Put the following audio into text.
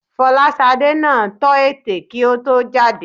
Fọláṣadé náà tọ́ ètè kí ó tó jáde